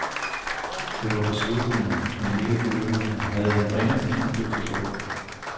Det var beslutninger, han ikke føler, han havde den ringeste indflydelse på.